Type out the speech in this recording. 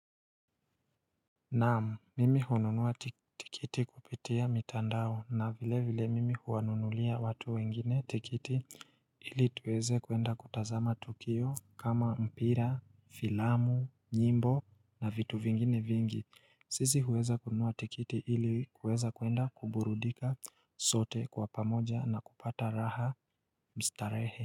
Naam, mimi hununua tikiti kupitia mitandao na vile vile mimi huwanunulia watu wengine tikiti ili tuweze kwenda kutazama tukio kama mpira, filamu, nyimbo na vitu vingine vingi. Sisi huweza kununua tikiti ili kuweza kwenda kuburudika sote kwa pamoja na kupata raha mstarehe.